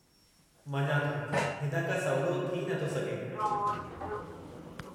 मञा थो! हिन खां सवलो थी न थो सघे।